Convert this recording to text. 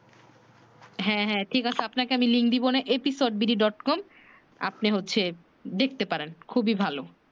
হ্যাঁ হ্যাঁ ঠিক আছে আপনাকে আমি লিং দিবো নে episode BD dot com আপনি হচ্ছে দেখতে পারেন খুবি ভালো